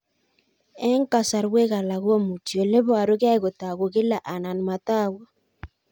Eng' kasarwek alak komuchi ole parukei kotag'u kila anan matag'u